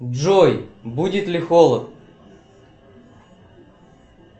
джой будет ли холод